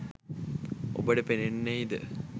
ඔබට පෙනෙන්නෙහිද?